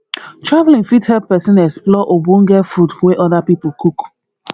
traveling fit help persin explore ogbonge food wey other pipo cook